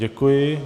Děkuji.